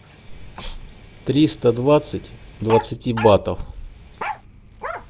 триста двадцать двадцати батов